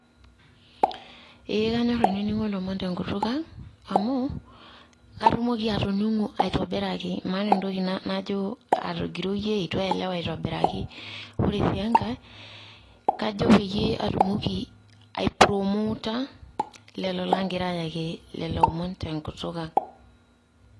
Ee kanyor ainining'o lomon tenkutuk ang',amu katumoki atoning'o aitobiraki. Maata entoki najo atogiroyie, eitu aielewa aitobiraki. Ore si enkae, kajo peyie atumoki ai promota lelo lagira ayaki leloomon tenkutuk ang'.